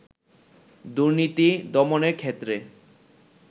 দুর্নীতি দমনের ক্ষেত্রে